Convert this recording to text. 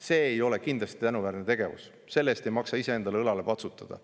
See ei ole kindlasti tänuväärne tegevus, selle eest ei maksa iseendale õlale patsutada.